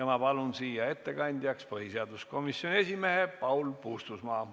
Ma palun siia ettekandjaks põhiseaduskomisjoni esimehe Paul Puustusmaa.